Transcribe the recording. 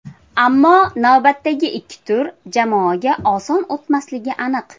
Ammo navbatdagi ikki tur jamoaga oson o‘tmasligi aniq.